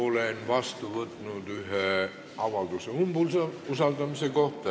Olen vastu võtnud ühe avalduse umbusaldamise kohta.